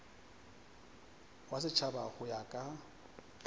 wa setšhaba go ya ka